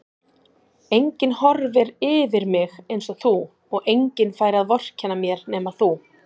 Enginn horfir yfir mig einsog þú og enginn fær að vorkenna mér nema þú.